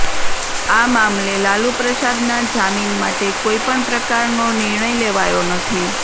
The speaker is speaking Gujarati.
આ મામલે લાલુ પ્રસાદના જામીન માટે કોઇ પણ પ્રકારનો નિર્ણય લેવાયો નથી